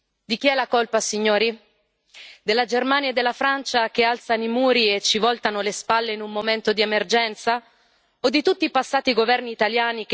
Fa male ammetterlo, ma è così. Di chi è la colpa, signori? Della Germania e della Francia, che alzano i muri e ci voltano le spalle in un momento di emergenza?